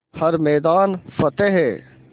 हर मैदान फ़तेह